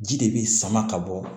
Ji de bi sama ka bɔ